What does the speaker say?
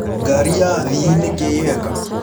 Ngarĩ ya athĩĩ nĩkĩĩ yeka